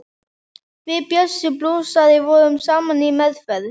Við Bjössi blúsari vorum saman í meðferð.